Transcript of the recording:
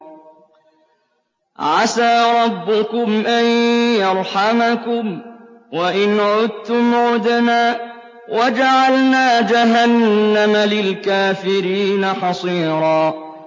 عَسَىٰ رَبُّكُمْ أَن يَرْحَمَكُمْ ۚ وَإِنْ عُدتُّمْ عُدْنَا ۘ وَجَعَلْنَا جَهَنَّمَ لِلْكَافِرِينَ حَصِيرًا